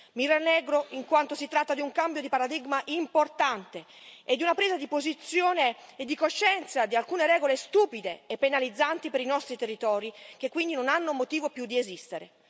Mi rallegro in quanto si tratta di un cambio di paradigma importante e di una presa di posizione e di coscienza di alcune regole stupide e penalizzanti per i nostri territori, che quindi non hanno motivo più di esistere.